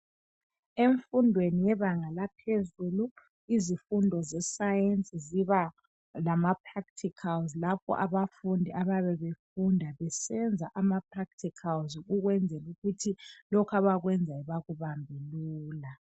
Emfundweni yebanga laphezulu izifundo zesayensi ziba lamapracticals lapha abafundi abayabe befunda besenza amapracticals ukwenzela ukuthi lokhu abakwenzayo bakubambe lula.